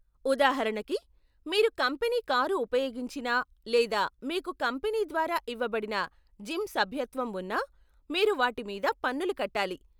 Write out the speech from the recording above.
ఉదాహరణకి, మీరు company car ఉపయోగించినా లేదా మీకు కంపెనీ ద్వారా ఇవ్వబడిన జిమ్ సభ్యత్వం ఉన్నా, మీరు వాటి మీద పన్నులు కట్టాలి.